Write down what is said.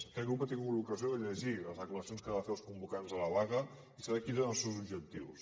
aquest grup ha tingut l’ocasió de llegir les declaracions que van fer els convocants de la vaga i sap quins eren els seus objectius